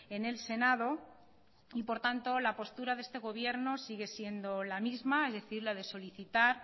en el senado y por tanto la postura de este gobierno sigue siendo la misma es decir la de solicitar